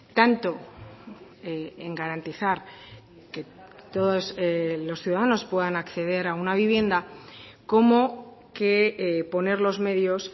tanto en garantizar que todos los ciudadanos puedan acceder a una vivienda como que poner los medios